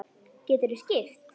Geturðu skipt?